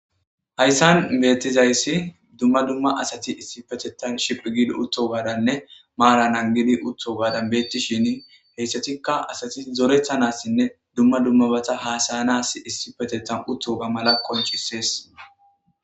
Hayssan bettizayisi duma duma asati issippetetan shiphi giddi uttogaddane Mara naggidi uttoganne bettishshin hayssatika asati zoretanas duma duma bata hasayanas issipetetan uttoga mala qonccises.